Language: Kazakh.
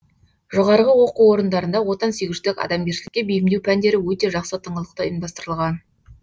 жоғарғы оқу орындарында отансүйгіштік адамгершілікке бейімдеу пәндері өте жақсы тыңғылықты ұйымдастырылған